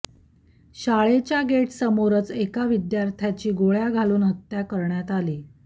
शाळेच्या गेटसमोरच एका विद्यार्थ्याची गोळ्या घालून हत्या करण्यात आली